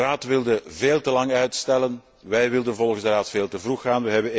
De Raad wilde veel te lang uitstellen. Wij wilden volgens de Raad veel te vroeg gaan.